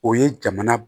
O ye jamana